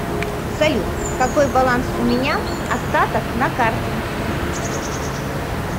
салют какой баланс у меня остаток на карте